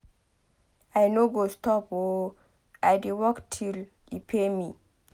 I no go stop oo. I dey work till e pay me.